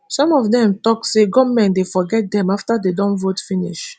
some of dem tok say goment dey forget dem afta dem don vote finish